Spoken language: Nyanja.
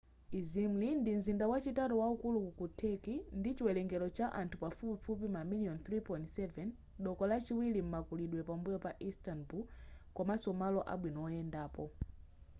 izmri ndi mzinda wachitatu waukulu ku turkey ndi chiwelengero cha anthu pafupifupi mamiliyoni 3.7 doko lachiwilri m'makulidwe pambuyo pa instanbul komanso malo abwino oyendapo